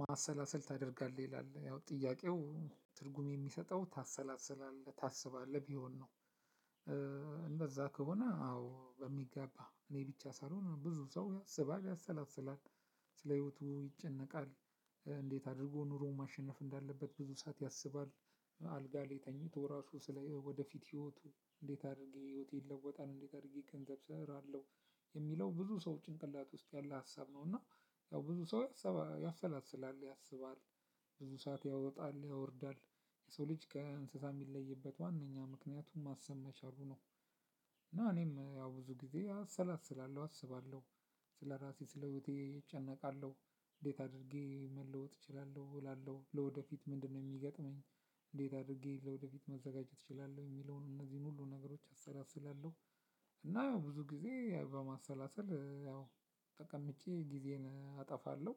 ማሰላሰል ታደርጋለህ ይላል ያው ጥያቄው ትርጉም የሚሰጠው ታሰላስላለህ ታስባለህ ቢሆን ነው። እንደዛ ከሆነ አዎ በሚገባ እኔ ብቻ ሳልሆን ብዙ ሰው ያስባል ያሰላስላል። ስለ ህይወቱ ይጨነቃል እንዴት አድርጎ ኑሮ ማሸነፍ እንዳለበት ብዙ ሰዓት ያሰባል። አልጋ ላይ ተኝቶ ራሱ ስለ ወደፊት ህይወቱ እንዴት አድርጌ ህይወቴን ይለወጣል እንዴት አድርጌ ገንዘብ ስራለው የሚለው ብዙ ሰው ጭንቅላቱ ውስጥ ያለ ሀሳብ ነው። እና ያው ብዙ ሰው ያሰላስላል ያስባል። ብዙ ሰዓት ያወጣል ያወርዳል የሰው ልጅ ከእንሰሳ የሚለይበት ዋነኛ ምክንያቱ ማሰብ በመቻሉ ነው። እና እኔም ያው ብዙ ጊዜ አሰላስላለሁ አስባለሁ። ስለ ራሴ ስለ ህይወቴ እጨነቃለሁ፣ እንዴት አድርጌ መለወጥ እችላለሁ እላለሁ ለወደፊት ምንድነው የሚገጥመኝ፣ እንዴት አድርጌ ለወደፊት መዘጋጀት እችላለው የሚለውን እንዚህን ሁሉ ነገሮች አሰላስላለሁ። እና ያው ብዙ ጊዜ በማሰላሰል ያው ተቀምጬ ጊዜን አጠፋለሁ።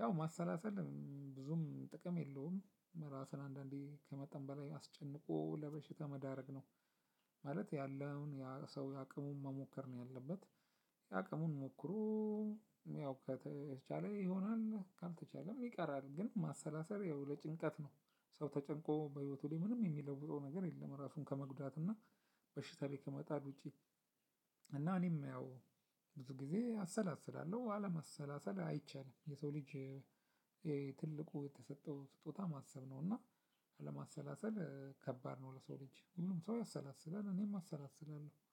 ያው ማሰላሰል ብዙም ጥቅም የለውም ራስን አንዳንዴ ከመጠን በላይ አስጨንቆ ለበሽታ መዳረግ ነው። ማለት ያለውን ያ ሰው የአቅሙን መሞከር ነው ያለበት። የአቅሙን ሞክሮ ያው ከተቻለ ይሆናል ካልተቻለም ይቀራል። ግን ማሰላሰል ያው ለጭንቀት ነው። ሰው ተጨንቆ በህይወቱ ላይ ምንም የሚለውጠው ነገር የለም ራሱን ከመጉዳትና በሽታ ላይ ከመጣል ውጪ። እና እኔም ያው ብዙ ጊዜ አሰላስላለሁ አለማሰላሰል አይቻልም የሰው ልጅ። ትልቁ የተሰጠው ስጦታ ማሰብ ነው እና። አለማሰላሰል ከባድ ነው ለሰው ልጅ ሁሉም ሰው ያሰላስላል እኔም አሰላስላለሁ